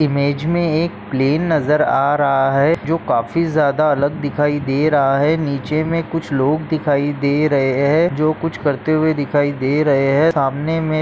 Image में एक plane नजर आ रहा है। जो काफी ज्यादा अलग दिखाई दे रहा है। नीचे में कुछ लोग दिखाई दे रहे है। जो कुछ करते हुए दिखाई दे रहे है। सामने में--